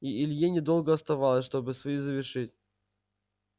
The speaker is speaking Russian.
и илье недолго оставалось чтобы свои завершить